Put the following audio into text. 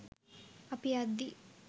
අපි යද්දි